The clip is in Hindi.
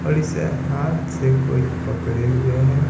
और इसे हाथ से कोई पकड़े हुए हैं।